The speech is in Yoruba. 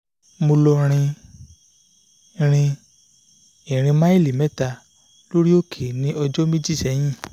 mo lọ rin rin ìrìn maili mẹ́ta lórí òkè ní ọjọ́ méjì sẹ́yìn